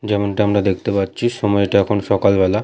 যেমনটা আমরা দেখতে পাচ্ছি সময়টা এখন সকালবেলা।